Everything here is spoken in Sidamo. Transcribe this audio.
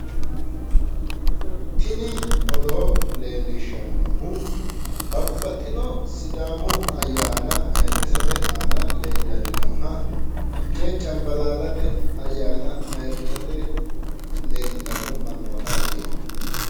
tini odoo leeliishshannohu babbaxxino sidaamu ayyaana ayiirrisate aana leellanni nooha fiche cambalaallate ayyaana ayyrsate leellitanni no mannootati.